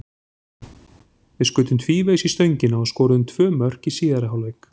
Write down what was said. Við skutum tvívegis í stöngina og skoruðum tvö mörk í síðari hálfleik.